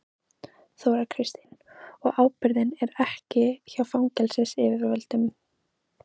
Þóra Kristín: Og ábyrgðin er ekki hjá fangelsisyfirvöldum?